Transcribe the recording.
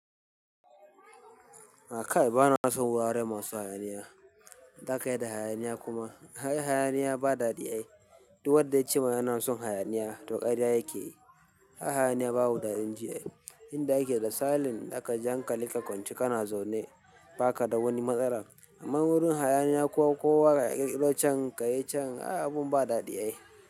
A kai ba na son wurare masu hayaniya. Me zaka yi da hayaniya kuma ai hayaniya ba daɗi ake. Duk wadda ya ce ma yana son hayaniya to ƙarya yake yi. Hayaniya babu daɗin ji, inda ake da salin zakaji hankalinka a kwance kana zaune ba ka da wani matsala. Amma wurin hayaniya kowa kayi can kayi can ai abun ba daɗi.